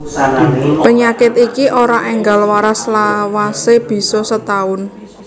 Penyakit iki ora enggal waras lawase bisa setaun